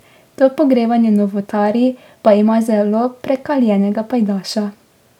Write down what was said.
To pogrevanje novotarij pa ima zelo prekaljenega pajdaša.